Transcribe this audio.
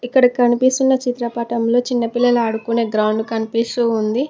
ఇక్కడ కనిపిస్తున్న చిత్రపటంలో చిన్నపిల్లలు ఆడుకునే గ్రౌండ్ కనిపిస్తూ ఉంది.